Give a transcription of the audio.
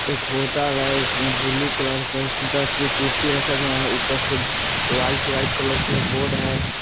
एक होटल है उसमें ब्लू कलर के दस कुर्सी रखे गए है ऊपर से वाइट वाइट कलर के बोर्ड है।